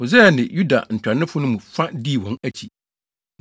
Hosaia ne Yuda ntuanofo no mu fa dii wɔn akyi,